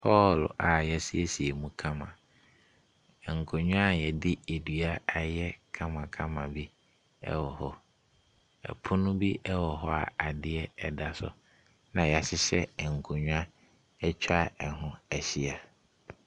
Hɔl a yasiesie mu kama. Nkonnwa yɛde ɛdua ayɛ kamakama bi ɛwɔ hɔ. Ɛpono bi ɛwɔ hɔ a adeɛ ɛda so ɛna yahyehyɛ nkonnwa atwa ɛho ahyia.